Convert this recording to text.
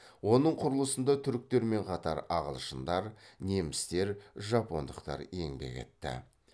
оның құрылысында түріктермен қатар ағылшындар немістер жапондықтар еңбек етті